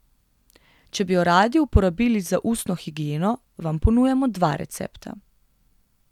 Če bi jo radi uporabili za ustno higieno, vam ponujamo dva recepta.